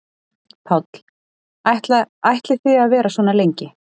Páll: Ætla ætlið þið að vera svona lengi?